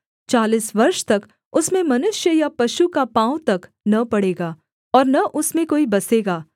चालीस वर्ष तक उसमें मनुष्य या पशु का पाँव तक न पड़ेगा और न उसमें कोई बसेगा